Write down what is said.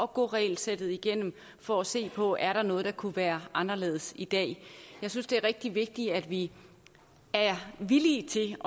gå regelsættet igennem for at se på er noget der kunne være anderledes i dag jeg synes det er rigtig vigtigt at vi er villige til